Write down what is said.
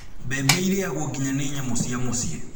Mbembe irĩagwo nginya nĩ nyamũ cia mũciĩ